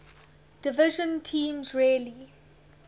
division teams rarely